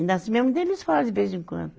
Ainda assim, um dia eles falam de vez em quando.